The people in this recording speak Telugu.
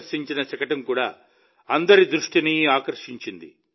ప్రదర్శించిన శకటం కూడా అందరి దృష్టిని ఆకర్షించింది